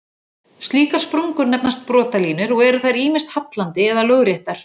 Slíkar sprungur nefnast brotalínur og eru þær ýmist hallandi eða lóðréttar.